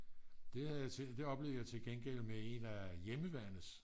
det oplevede jeg til gengæld med en af hjemmeværnets